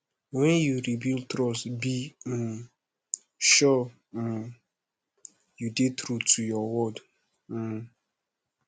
wen yu rebuild trust be um sure um yu dey true to yur word um